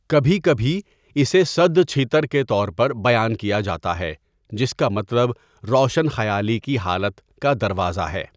کبھی کبھی، اسے سدھ چھیتر کے طور پر بیان کیا جاتا ہے، جس کا مطلب روشن خیالی کی حالت کا دروازہ ہے۔